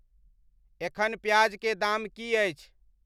एखन प्याज के दाम की अछि